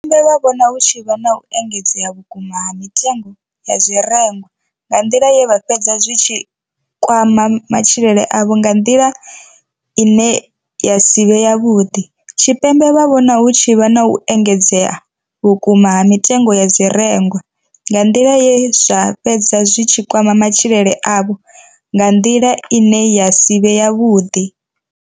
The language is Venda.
Tshipembe vho vhona hu tshi vha na u engedzea vhukuma ha mitengo ya zwirengwa nga nḓila ye zwa fhedza zwi tshi kwama matshilele avho nga nḓila ine ya si vhe yavhuḓi. Tshipembe vho vhona hu tshi vha na u engedzea vhukuma ha mitengo ya zwirengwa nga nḓila ye zwa fhedza zwi tshi kwama matshilele avho nga nḓila ine ya si vhe yavhuḓi.